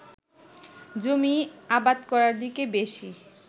জমি আবাদ করার দিকে বেশি